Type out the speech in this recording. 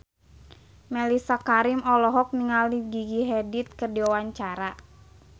Mellisa Karim olohok ningali Gigi Hadid keur diwawancara